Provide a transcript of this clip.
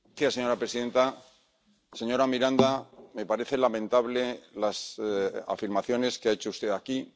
Señora presidenta, señora Miranda, me parecen lamentables las afirmaciones que ha hecho usted aquí.